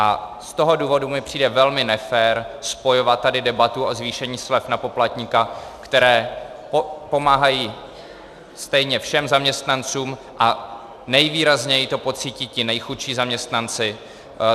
A z toho důvodu mi přijde velmi nefér spojovat tady debatu o zvýšení slev na poplatníka, které pomáhají stejně všem zaměstnancům, a nejvýrazněji to pocítí ti nejchudší zaměstnanci.